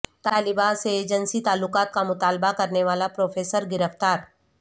طالبہ سے جنسی تعلقات کا مطالبہ کرنے والا پروفیسر گرفتار